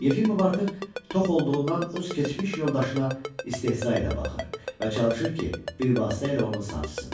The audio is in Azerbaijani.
Yefimov artıq tox olduğundan öz keçmiş yoldaşına istehza ilə baxır və çalışır ki, bir vasitə ilə onu sancsın.